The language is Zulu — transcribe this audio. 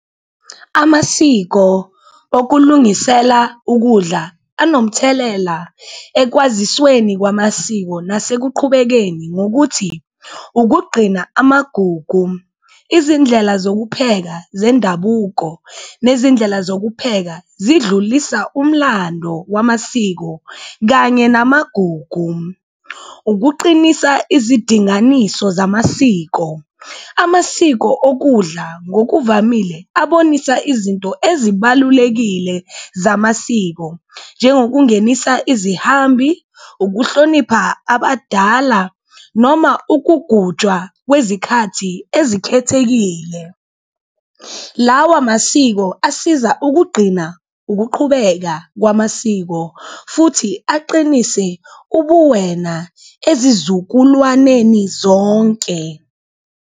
Amasiko okulungisela ukudla anomthelela ekwazisweni kwamasiko nasekuqhubekeni ngokuthi, ukugqina amagugu, izindlela zokupheka zendabuko nezindlela zokupheka zidlulisa umlando wamasiko kanye namagugu. Ukuqinisa izidinganiso zamasiko, amasiko okudla ngokuvamile abonisa izinto ezibalulekile zamasiko njengokungenisa izihambi, ukuhlonipha abadala noma ukugujwa kwezikhathi ezikhethekile. Lawa masiko asiza ukugqina ukuqhubeka kwamasiko futhi aqinise ubuwena ezizukulwaneni zonke.